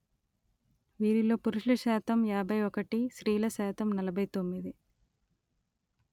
వీరిలో పురుషుల శాతం యాభై ఒకటి స్త్రీల శాతం నలభై తొమ్మిది